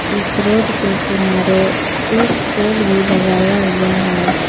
इस रोड के किनारे एक पोल भी लगाया हुआ है।